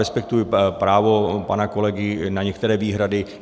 Respektuji právo pana kolegy na některé výhrady.